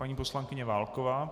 Paní poslankyně Válková.